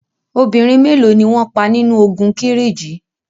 Obìnrin mélo ni wọn pa nínu ogun Kírìjí?